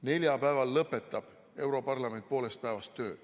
Neljapäeval lõpetab europarlament poolest päevast töö.